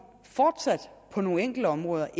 på nogle enkelte områder